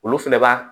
Olu fɛnɛ b'a